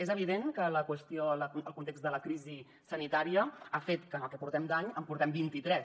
és evident que el context de la crisi sanitària ha fet que en el que portem d’any en portem vint i tres